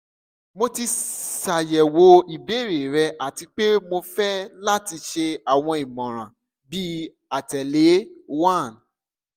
mo ti ṣayẹwo ibeere rẹ ati pe mo fẹ lati ṣe awọn imọran bi atẹle:1